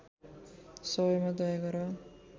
सबैमा दया गर